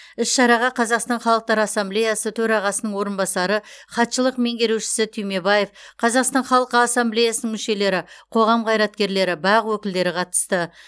іс шараға қазақстан халқы ассамблеясы төрағасының орынбасары хатшылық меңгерушісі түймебаев қазақстан халқы ассамблеясының мүшелері қоғам қайраткерлері бақ өкілдері қатысты